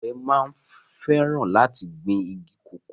Àgbẹ̀ máa ń fẹràn láti gbìn igi kòkó